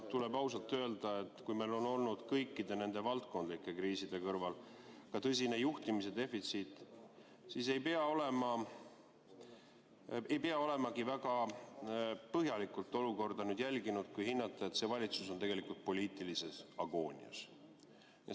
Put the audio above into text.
Tuleb ausalt öelda, et kui meil on olnud kõikide nende valdkondlike kriiside kõrval ka tõsine juhtimise defitsiit, siis ei pea olemagi väga põhjalikult olukorda jälginud, et hinnata, et see valitsus on poliitilises agoonias.